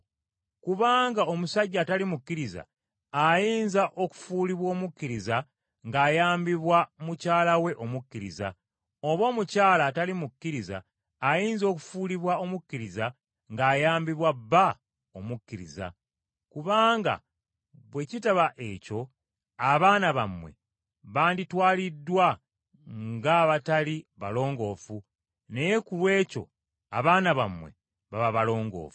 Kubanga omusajja atali mukkiriza ayinza okufuulibwa omukkiriza ng’ayambibwa mukyala we omukkiriza, oba omukyala atali mukkiriza ayinza okufuulibwa omukkiriza ng’ayambibwa bba omukkiriza. Kubanga bwe kitaba ekyo abaana bammwe banditwaliddwa ng’abatali balongoofu naye ku lw’ekyo abaana bammwe baba balongoofu.